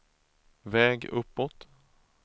väg uppåt